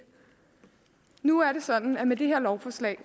nu er det sådan i med det her lovforslag